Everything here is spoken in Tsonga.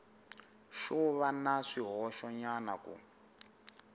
xo va na swihoxonyana ku